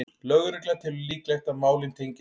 Lögregla telur líklegt að málin tengist